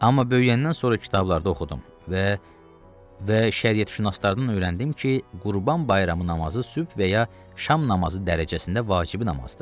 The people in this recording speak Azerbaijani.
Amma böyüyəndən sonra kitablarda oxudum və və şəriyətşünaslardan öyrəndim ki, Qurban Bayramı namazı sübh və ya şam namazı dərəcəsində vacibi namazdır.